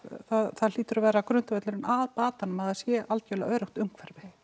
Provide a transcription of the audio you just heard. það hlýtur að vera grundvöllurinn að batanum að það sé algjörlega öruggt umhverfi